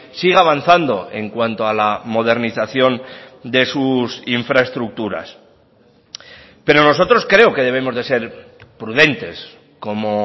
siga avanzando en cuanto a la modernización de sus infraestructuras pero nosotros creo que debemos de ser prudentes como